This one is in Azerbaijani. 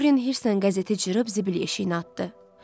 Dorian hirslə qəzeti cırıb zibil yeşiyinə atdı.